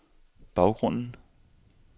baggrunden